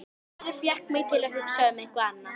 Hörður fékk mig til að hugsa um eitthvað annað.